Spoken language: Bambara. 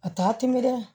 A t'a tɛ minɛ dɛ